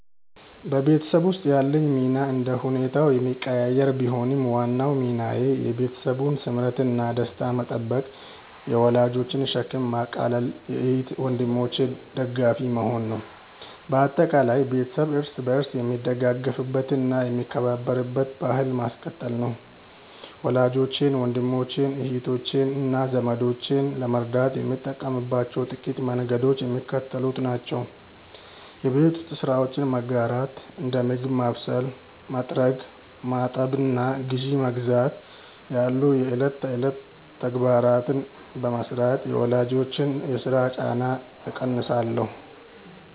በቤተሰብ ውስጥ ያለኝ ሚና እንደየሁኔታው የሚቀያየር ቢሆንም፣ ዋናው ሚናዬ የቤተሰቡን ስምረትና ደስታ መጠበቅ፣ የወላጆችን ሸክም ማቃለልና የእህት ወንድሞቼ ደጋፊ መሆን ነው። በአጠቃላይ፣ ቤተሰብ እርስ በርስ የሚደጋገፍበትና የሚከባበርበትን ባሕል ማስቀጠል ነው። ወላጆቼን፣ ወንድሞቼን፣ እህቶቼንና ዘመዶቼን ለመርዳት የምጠቀምባቸው ጥቂት መንገዶች የሚከተሉት ናቸው የቤት ውስጥ ስራዎችን መጋራት፦ እንደ ምግብ ማብሰል፣ መጥረግ፣ ማጠብና ግዢ መግዛት ያሉ የዕለት ተዕለት ተግባራትን በመሥራት የወላጆችን የሥራ ጫና እቀንሳለሁ